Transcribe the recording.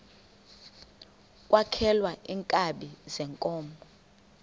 kwaxhelwa iinkabi zeenkomo